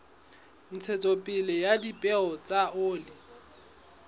ntshetsopele ya dipeo tsa oli